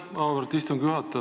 Aitäh, auväärt istungi juhataja!